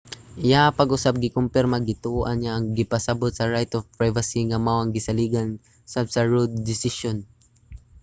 iyaha pag-usab gikompirma nga gituohan niya ang gipasabut sa right to privacy nga mao ang gisaligan usab sa roe desisyon